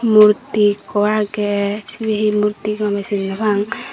murti ekku agey sibey he murti gomey sin nopang.